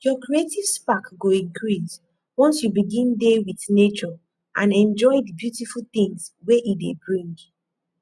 your creative spark go increase once you begin dey with nature and enjoy di beautiful things wey e dey bring